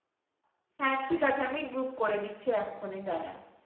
হ্যাঁ ঠিক আছে আমি group করে নিচ্ছি এখনই দারা।